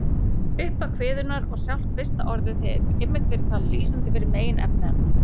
Upphaf kviðunnar og sjálft fyrsta orðið hefur einmitt verið talið lýsandi fyrir meginefni hennar.